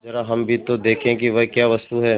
जरा हम भी तो देखें कि वह क्या वस्तु है